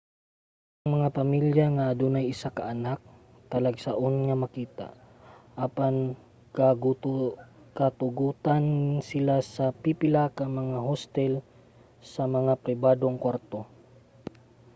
ang mga pamilya nga adunay usa ka anak talagsaon nga makita apan gatugutan sila sa pipila ka mga hostel sa mga pribadong kwarto